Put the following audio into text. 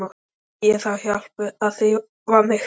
Ég þarf hjálp við að þrífa mig.